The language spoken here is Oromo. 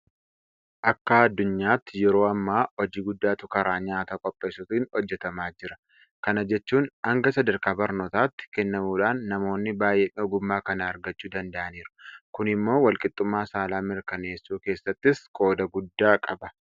Akka addunyaatti yeroo ammaa hojii guddaatu karaa nyaata qopheessuutiin hojjetamaa jira. Kana jechuun hanga sadarkaa barnootaatti kennamuudhaan namoonni baay'een ogummaa kana argachuu danda'aniiru. kun immoo walqixxummaa saalaa mirkaneessuu keessattis qooda guddaa qaba.